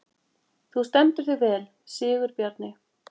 Þú stendur þig vel, Sigurbjarni!